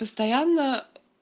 постоянно